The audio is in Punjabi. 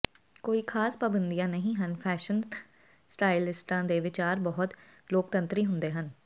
ਕੋਈ ਖਾਸ ਪਾਬੰਦੀਆਂ ਨਹੀਂ ਹਨ ਫੈਸ਼ਨ ਸਟਾਈਲਿਸਟਾਂ ਦੇ ਵਿਚਾਰ ਬਹੁਤ ਲੋਕਤੰਤਰੀ ਹੁੰਦੇ ਹਨ